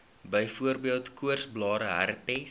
byvoorbeeld koorsblare herpes